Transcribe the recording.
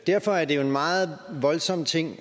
derfor er det jo en meget voldsom ting